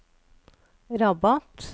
Rabat